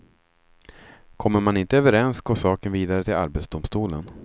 Kommer man inte överens går saken vidare till arbetsdomstolen.